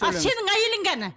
ал сенің әйелің қане